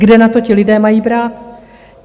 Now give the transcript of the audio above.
Kde na to ti lidé mají brát?